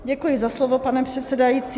Děkuji za slovo, pane předsedající.